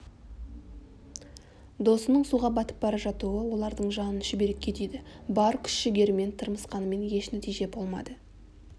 досының суға батып бара жатуы олардың жанын шүберекке түйді бар күш-жігерімен тырмысқанмен еш нәтиже болмады